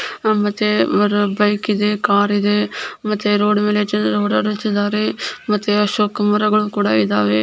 ಮತ್ತೆ ಅವ್ರು ಬೈಕ್ ಇದೆ ಕಾರ್ ಇದೆ ಮತ್ತೆ ರೋಡ್ ಓಡಾಡುತಿದಾರೆ ಮತ್ತೆ ಅಶೋಕ್ ಮರಗಳು ಕೂಡಾ ಇದಾವೆ.